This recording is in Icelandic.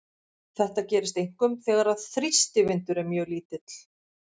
Þetta gerist einkum þegar þrýstivindur er mjög lítill.